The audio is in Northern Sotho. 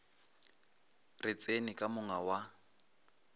re tseni ka monga wa